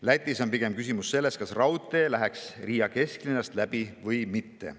Lätis on küsimus pigem selles, kas raudtee läheks Riia kesklinnast läbi või mitte.